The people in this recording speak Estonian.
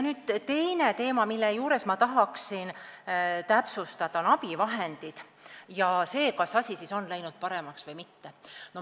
Teine teema, mida ma tahan täpsustada, on abivahendid ja see, kas asi on siis läinud paremaks või mitte.